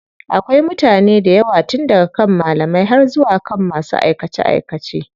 Akwai mutane daywa tun daga kan malamai har zuwa kan masu aikace aikace.